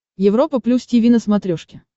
европа плюс тиви на смотрешке